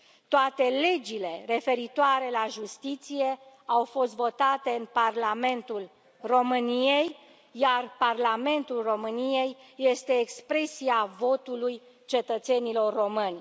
Toate legile referitoare la justiție au fost votate în Parlamentul României, iar Parlamentul României este expresia votului cetățenilor români.